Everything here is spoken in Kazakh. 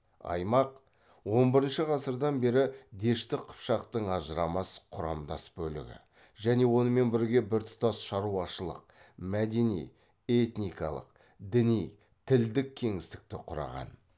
аймақ он бірінші ғасырдан бері дешті қыпшақтың ажырамас құрамдас бөлігі және онымен бірге біртұтас шаруашылық мәдени этникалық діни тілдік кеңістікті құраған